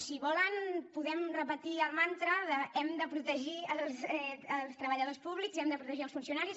si volen podem repetir el mantra d’ hem de protegir els treballadors públics hem de protegir els funcionaris